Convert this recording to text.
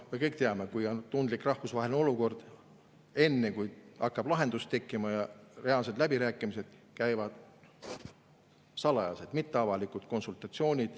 Me kõik teame, et kui on tundlik rahvusvaheline olukord, siis enne kui hakkab lahendus tekkima ja reaalsed läbirääkimised, käivad salajased, mitteavalikud konsultatsioonid.